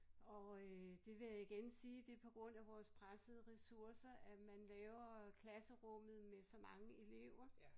Og øh det vil jeg igen sige det på grund af vores pressede ressourcer at man laver øh klasserummet med så mange elever